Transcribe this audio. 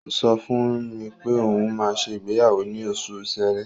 Ó ń sọ fún mi pé òun máa ṣe ìgbéyàwó ní oṣù Ṣẹrẹ.